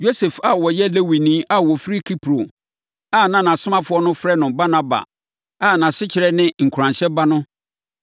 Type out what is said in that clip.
Yosef a na ɔyɛ Lewini a ɔfiri Kipro a na asomafoɔ no frɛ no Barnaba, a asekyerɛ ne “Nkuranhyɛ Ba” no,